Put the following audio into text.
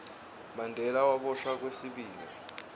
mandela waboshwa kwesibili